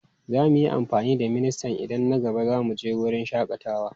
Za mu yi amfani da ministan idan na gaba za mu je wurin shakatawa.